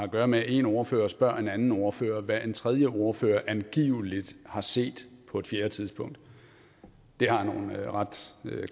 at gøre med at en ordfører spørger en anden ordfører hvad en tredje ordfører angiveligt har set på en fjerde tidspunkt det har jeg nogle ret